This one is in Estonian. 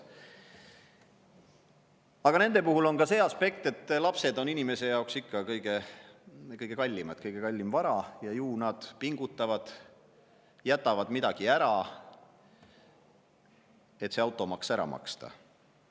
Aga nende puhul on ka see aspekt, et lapsed on ikka kõige kallimad, kõige kallim vara – ju inimesed pingutavad ja jätavad mingid muud ära, et see automaks ära maksta.